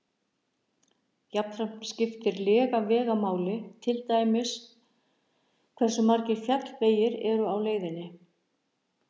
Jafnframt skiptir lega vega máli, til dæmis hversu margir fjallvegir eru á leiðinni.